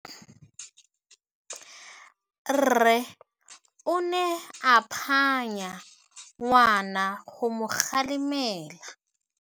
Rre o ne a phanya ngwana go mo galemela.